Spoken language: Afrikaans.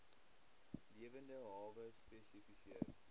lewende hawe spesifiseer